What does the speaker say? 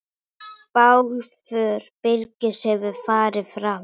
Bálför Birgis hefur farið fram.